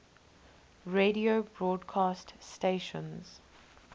radio broadcast stations